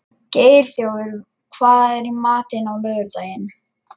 Geirþjófur, hvað er í matinn á laugardaginn?